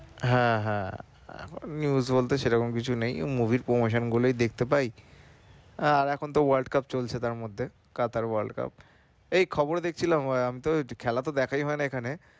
হ্যাঁ হ্যাঁ এখন news বলতে সেরকম কিছু নেই movie র promotion গুলোই দেখতে পাই আর এখন তো world cup চলছে তাঁর মধ্যে Qatar world cup এই খবর দেখছিলাম ওই আমি তো খেলা তো দেখাই হয়না এখানে